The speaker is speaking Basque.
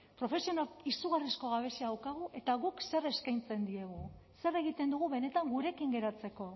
profesionalen izugarrizko gabezia daukagu eta guk zer eskaintzen diegu zer egiten dugu benetan gurekin geratzeko